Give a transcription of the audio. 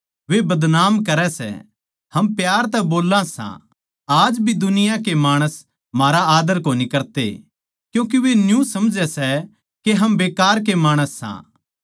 वे बदनाम करै सै हम प्यार तै बोल्ला सां आज भी दुनिया के माणस म्हारा आदर कोनी करते क्यूँके वे न्यू समझै सै के हम बेकार के माणस सां